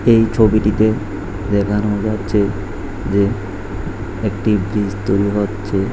এই ছবিটিতে দেখানো যাচ্ছে যে একটি ব্রীজ তৈরি হচ্ছে।